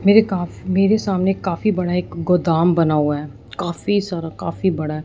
मेरे काफी मेरे सामने काफी बड़ा एक गोदाम बना हुआ है काफी सारा काफी बड़ा--